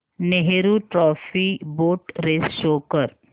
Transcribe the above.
Nehru trophy boat race show कर